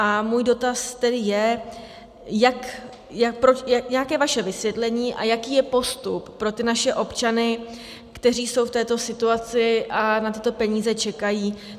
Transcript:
A můj dotaz tedy je, jaké je vaše vysvětlení a jaký je postup pro ty naše občany, kteří jsou v této situaci a na tyto peníze čekají.